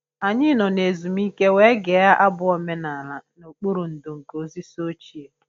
Anyị nọ na ezumike wee gee abụ omenala nokpuru ndò nke osisi ochie